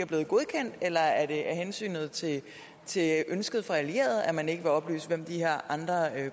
blevet godkendt eller er det af hensyn til ønsket fra allierede at man ikke vil oplyse hvem de her andre